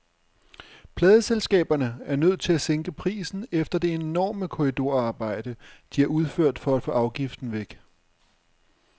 Pladeselskaberne er nødt til at sænke prisen efter det enorme korridorarbejde, de har udført for at få afgiften væk.